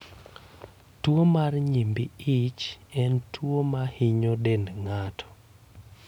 Tuwo mar nyimbi ich en tuwo mahinyo dend ng'ato.